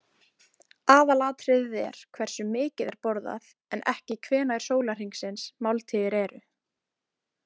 Aðalatriðið er hversu mikið er borðað en ekki hvenær sólahringsins máltíðir eru.